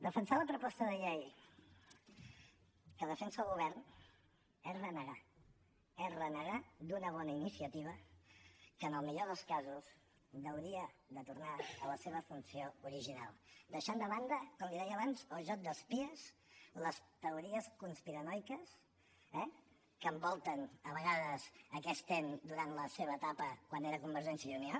defensar la proposta de llei que defensa el govern és renegar és renegar d’una bona iniciativa que en el millor dels casos hauria de tornar a la seva funció original deixant de banda com li deia abans el joc d’espies les teories conspiranoiques eh que envolten a vegades aquest ens durant la seva etapa quan era convergència i unió